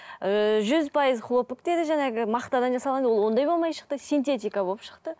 ыыы жүз пайыз хлопок деді жаңағы мақтадан жасалған ол ондай болмай шықты синтетика болып шықты